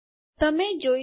તમેં જોઈ શકો